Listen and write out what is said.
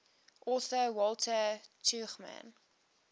author walter tuchman